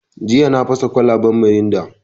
Jiya na fasa da kwalaban mirinda.